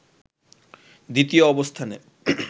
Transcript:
দ্বিতীয় অবস্থানে